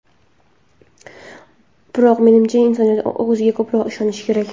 Biroq menimcha, insoniyat o‘ziga ko‘proq ishonishi kerak.